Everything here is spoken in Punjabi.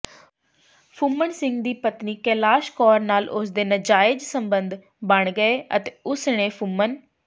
ਫੁੰਮਨ ਸਿੰਘ ਦੀ ਪਤਨੀ ਕੈਲਾਸ਼ ਕੌਰ ਨਾਲ ਉਸਦੇ ਨਾਜਾਇਜ਼ ਸਬੰਧ ਬਣ ਗਏ ਅਤੇ ਉਸਨੇ ਫੁੰਮਨ